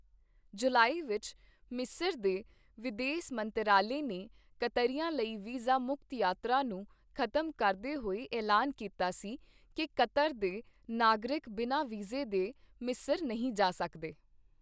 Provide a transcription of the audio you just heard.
ਜੁਲਾਈ ਵਿੱਚ ਮਿਸਰ ਦੇ ਵਿਦੇਸ ਮੰਤਰਾਲੇ ਨੇ ਕਤਰੀਆਂ ਲਈ ਵੀਜ਼ਾ ਮੁਕਤ ਯਾਤਰਾ ਨੂੰ ਖ਼ਤਮ ਕਰਦੇ ਹੋਏ ਐਲਾਨ ਕੀਤਾ ਸੀ ਕੀ ਕਤਰ ਦੇ ਨਾਗਰਿਕ ਬਿਨਾਂ ਵੀਜ਼ੇ ਦੇ ਮਿਸਰ ਨਹੀਂ ਜਾ ਸਕਦੇ।